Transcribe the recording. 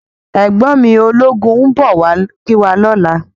Ègbòn mi ólógún n bò wá kiwá lòlá